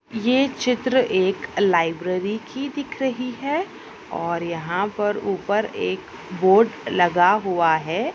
ये चित्र एक लाइब्रेरी की दिख रही है और यहाँ पर ऊपर एक बोर्ड लगा हुआ है।